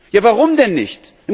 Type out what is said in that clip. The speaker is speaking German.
Ja, warum denn nicht?